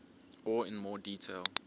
or in more detail